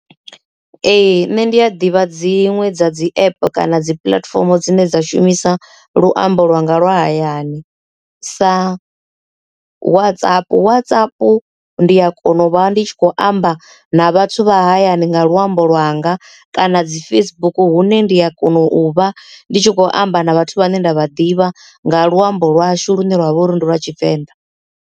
Ee nṋe ndi a ḓivha dziṅwe dza dzi app kana dzi puḽatifomo dzine dza shumisa luambo lwa nga lwa hayani sa Whatsapp. Whatsapp ndi a kona u ndi tshi khou amba na vhathu vha hayani nga luambo lwanga, kana dzi Facebook hune ndi a kona u vha ndi tshi khou amba na vhathu vhane nda vha ḓivha nga luambo lwashu lune lwavha uri ndi lwa Tshivenḓa.